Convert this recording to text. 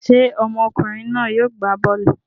Ṣé ọmọkùnrin náà yóò gbá bọ́ọ́lù?